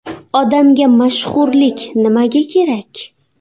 Odamga mashhurlik nimaga kerak?